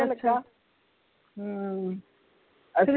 ਹਮ ਅ